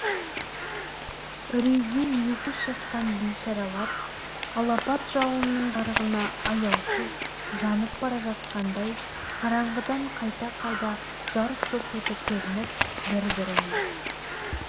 үрейден есі шыққан бейшаралар алапат жалынның жарығына аяусыз жанып бара жатқандай қараңғыдан қайта-қайта жарқ-жұрқ етіп көрініп бір бірінен